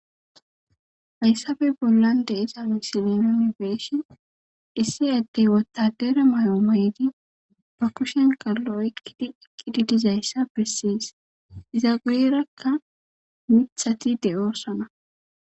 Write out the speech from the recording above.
Hayssabe bollan de isa misilinonibeeshin issi addey wottadere may'o may'di ba kushen kallo ekkidi ekkidi dizayssa bessiyes izagueerakka mithati de ossana